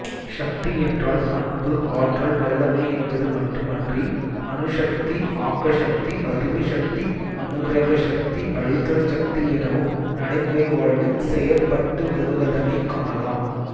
சக்தி என்றால்அன்புஆற்றல்வல்லமைஎன்பது மட்டுமன்றி அணுசக்திஆக்கசக்திஅறிவுசக்திஅனுக்கிரகசக்திஅழித்தல் சக்தி எனவும் நடைமுறைவாழ்வில் செயற்பட்டு வருவதனைக் காணலாம்